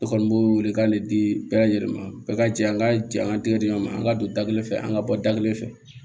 Ne kɔni b'o wele k'ale di bɛɛ lajɛlen ma bɛɛ ka jɛ an ka jɛ an ka tɛgɛ diɲɛ ma an ka don da kelen fɛ an ka bɔ da kelen fɛ